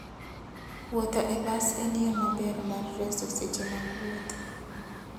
Wuotho e bas en yo maber mar reso seche mag wuoth.